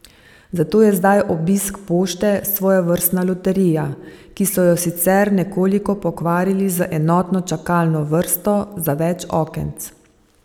Zato je zdaj obisk pošte svojevrstna loterija, ki so jo sicer nekoliko pokvarili z enotno čakalno vrsto za več okenc.